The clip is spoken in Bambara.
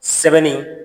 Sɛbɛnni